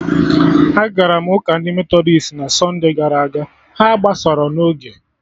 Agara m ụka ndị Metọdist na sunde gara aga, ha agbasarọ n'oge